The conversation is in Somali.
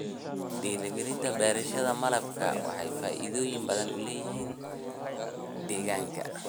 Dhiirigelinta beerashada malabka waxay faa'iidooyin badan u leedahay deegaanka.